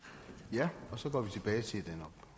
jeg